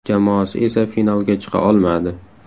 Jamoasi esa finalga chiqa olmadi.